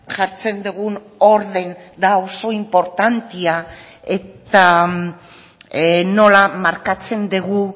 jartzen dugun ordena oso inportantea da eta nola markatzen dugun